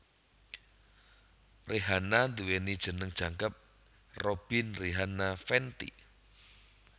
Rihanna nduwèni jeneng jangkep Robyn Rihanna Fenty